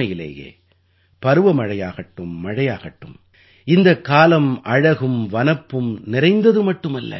உண்மையிலேயே பருவமழையாகட்டும் மழையாகட்டும் இந்தக் காலம் அழகும் வனப்பும் நிறைந்தது மட்டுமல்ல